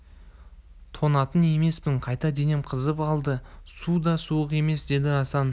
тоңатын емеспін қайта денем қызып алды су да суық емес деді асан